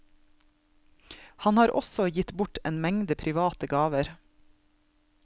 Han har også gitt bort en mengde private gaver.